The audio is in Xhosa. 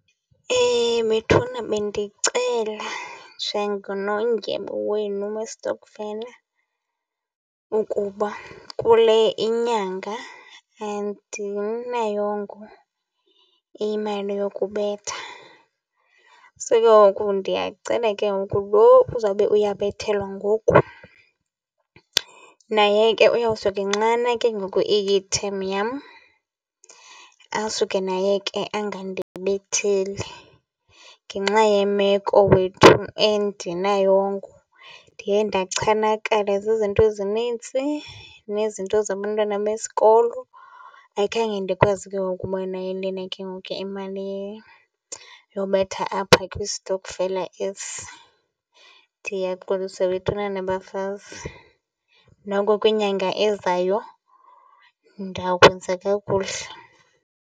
Bethuna bendicela njengonondyebo wenu westokfela ukuba kule inyanga andinayo imali yokubetha, So ke ngoku ndiyacela ke ngoku lo uzawube uyabethelwa ngoku naye ke uyawusuke nxana ke ngoku iyitheni yam, asuke naye ke angandibetheli. Ngenxa ye meko wethu andinayongo. Ndiye ndachanakala zizinto ezinintsi nezinto zabantwana besikolo, ayikhange ndikwazi ke ngoku ukuba nayo lena ke ngoku ke imali yobetha apha kwistokfela esi. Ndiyaxolisa bethunana bafazi. Noko kwinyanga ezayo ndawukwenza kakuhle.